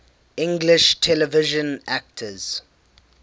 english television actors